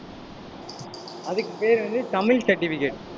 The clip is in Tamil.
அதுக்கு பெயர் வந்து தமிழ் certificate